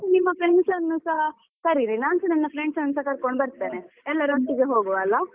ನಿಮ್ಮ friends ಅನ್ನುಸ ಕರೀರಿ ನಾನ್ಸ ನನ್ friends ಅನ್ನು ಸ ಕರ್ಕೊಂಡು ಬರ್ತೇನೆ ಎಲ್ಲರೂ ಒಟ್ಟಿಗೆ ಹೋಗ್ವ ಅಲ್ಲ.